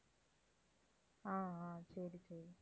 ஆஹ் ஆஹ் சரி, சரி.